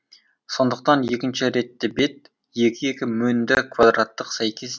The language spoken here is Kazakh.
сондықтан екінші ретті бет екі екі мөнді квадраттық сәйкес